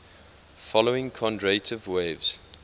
following kondratiev waves